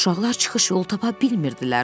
Uşaqlar çıxış yolu tapa bilmirdilər.